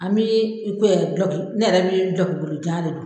An bɛ i ko dɔlɔki ne yɛrɛ bɛ dɔlɔki bolo jan de don.